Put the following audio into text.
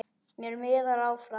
Mér miðar áfram.